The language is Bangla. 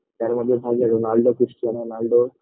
তার মধ্যে ভালো লাগে রোনালদো খৃষ্টানো রোনালদো